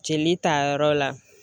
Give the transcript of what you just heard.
Jeli ta yɔrɔ la.